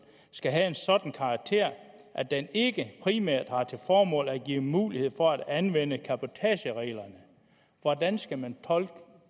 skal have en sådan karakter at den ikke primært har til formål at give mulighed for at anvende cabotagereglerne hvordan skal man tolke